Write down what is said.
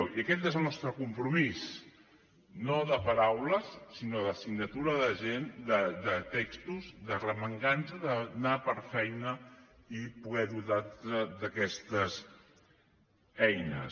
i aquest és el nostre compromís no de paraules sinó de signatura de textos d’arromangar nos d’anar per feina i poder dotar aquestes eines